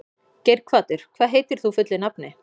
Geirhvatur, hvað heitir þú fullu nafni?